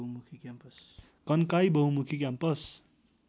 कन्काई बहुमुखी क्याम्पस